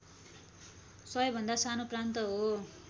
सबैभन्दा सानो प्रान्त हो